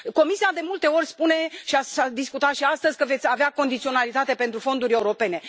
Comisia, de multe ori, spune și s a discutat și astăzi că veți avea condiționalitate pentru fonduri europene.